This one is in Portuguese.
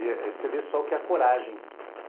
E você vê só o que é coragem.